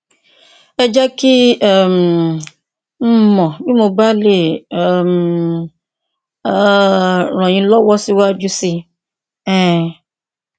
ẹ jẹ kí um n mọ bí mo bá lè um um ràn yín lọwọ síwájú sí i um